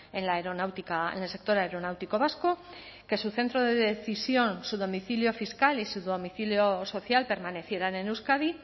en la aeronáutica en el sector aeronáutico vasco que su centro de decisión su domicilio fiscal y su domicilio social permanecieran en euskadi